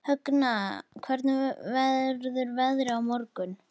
Högna, hvernig verður veðrið á morgun?